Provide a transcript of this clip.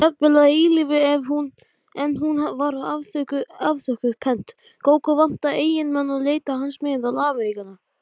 Þú skalt ekki dæma hann föður þinn, Sveinn minn.